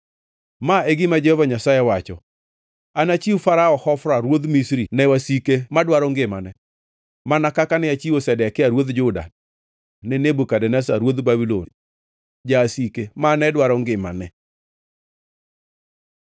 Ma e gima Jehova Nyasaye wacho: ‘Anachiw Farao Hofra ruodh Misri ne wasike madwaro ngimane, mana kaka ne achiwo Zedekia ruodh Juda ne Nebukadneza ruodh Babulon jasike mane dwaro ngimane.’ ”